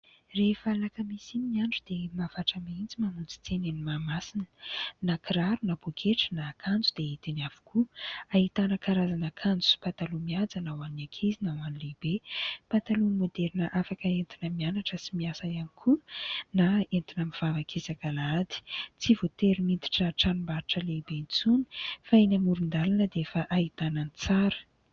Rehefa alakamisy iny ny andro dia mahavatra mihitsy mamonjy tsena eny Mahamasina. Na kiraro na pôketra na akanjo dia hita eny avokoa. Ahitana karazana akanjo sy pataloha mihaja na ho an'ny ankizy na ho an'ny lehibe. Pataloha maoderina afaka entina mianatra sy miasa ihany koa na entina mivavaka isak'alahady. Tsy voatery miditra tranombarotra lehibe intsony fa eny amoron-dalana dia efa ahitana ny tsara.